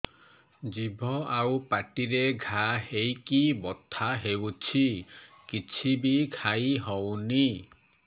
ଜିଭ ଆଉ ପାଟିରେ ଘା ହେଇକି ବଥା ହେଉଛି କିଛି ବି ଖାଇହଉନି